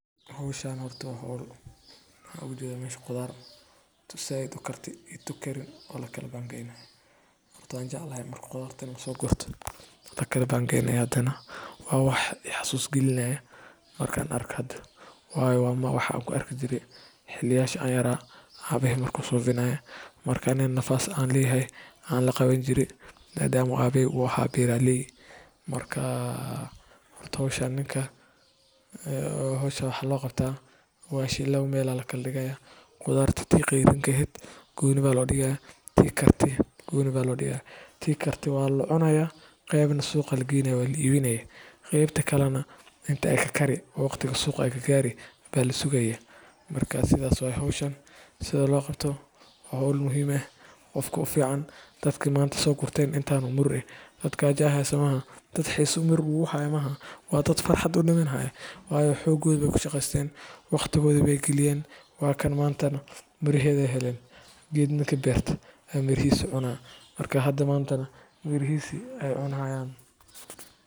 Hawshan horta waa hawl. Waxaan uga jeedaa meesha qudaarta tuu zayid u kartee iyo tuu kariin oo la kala qaybayo. Horta waan jeclahay marka qudaar la soo garto la kala qaybiyo. Hadana waa waax ee xasuus keensanayo markaan arko. Hadda waa waax aan ku arki jiray xilliyada aan yaraa, abahay marka uu subinayo, markaas anigana neef aan lahaa aan la qawani jiray, maadaama uu abahay ahaa beeraley. Horta hawsha ninkan maxaa loo qabtaa? Baashka labo meel ayaa la kala dhigayaa. Qudaarta midda qeyrinka ahayd tii qeyrinka gooni ayaa loo dhigayaa, tii kartee gooni ayaa loo dhigayaa. Tii kartee waa la cunayaa, qeybna suuq ayaa loo geynayaa, waa la iibinayaa. Qeybta kalana inta ay ka kari karto waqtiga suuq la gaari karo ayaa la sugayaa. Marka sidaas bay tahay hawshan sida loo qabto. Waa hawl muhiim ah. Qofka u fiicnaa dadka maanta soo gurtay, intaas oo miro ah dad gaajo hayso ma aha. Dad xiiso miro u haya ma aha. Waa dad farxad u dhimanayo, waayo xooggoodii bay ku shaqeysteen, waqtigoodii bay galiyeen, waana maanta mirahoodii bay helayaan. Geed ninkii beerto baa mirihiisa cuna, marka maanta mirihiisa ayay cunayaan.